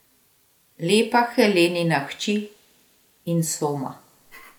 Lepa Helenina hči Insoma.